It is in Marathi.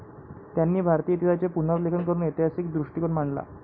त्यांनी भारतीय इतिहासाचे पुनर्लेखन करून ऐतिहासिक दृष्टीकोन मांडला.